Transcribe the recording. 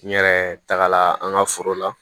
N yɛrɛ tagala an ka foro la